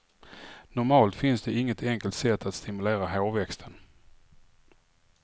Normalt finns det inget enkelt sätt att stimulera hårväxten.